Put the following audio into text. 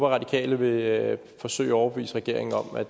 radikale vil forsøge at overbevise regeringen om at